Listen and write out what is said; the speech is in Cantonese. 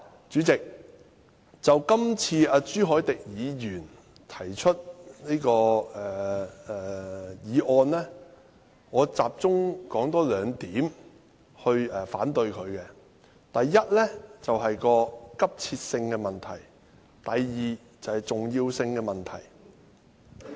主席，就這次朱凱廸議員提出的議案，我集中說兩點來反對：第一，是急切性的問題；第二，是重要性的問題。